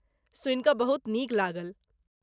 सुनि कऽ बहुत नीक लागल।